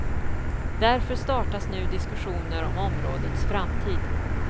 Därför startas nu diskussioner om områdets framtid.